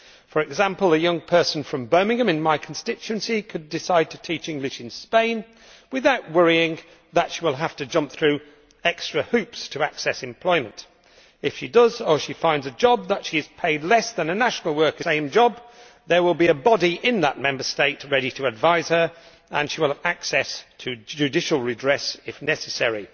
For example, a young person from Birmingham in my constituency could decide to teach English in Spain without worrying that she will have to jump through extra hoops to access employment. If she does, or if she finds a job where she is paid less than a national worker doing the same job, there will be a body in that Member State ready to advise her, and she will have access to judicial redress if necessary.